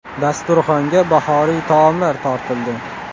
Dasturxonga bahoriy taomlar tortildi.